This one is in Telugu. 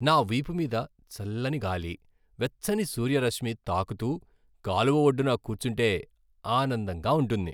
నా వీపు మీద చల్లని గాలి, వెచ్చని సూర్యరశ్మి తాకుతూ, కాలువ ఒడ్డున కూర్చుంటే ఆనందంగా ఉంటుంది.